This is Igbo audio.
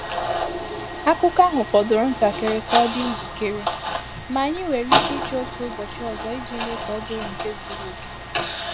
Akụ́kọ̀ ahụ fọdụrụ ntakịrị ka ọ dị njikere, ma anyị nwere ike ịchọ otu ụbọchị ọzọ iji mee ka ọ bụrụ nke zuru oke.